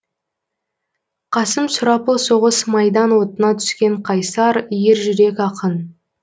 қасым сұрапыл соғыс майдан отына түскен қайсар ержүрек ақын